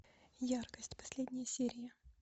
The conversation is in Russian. яркость последняя серия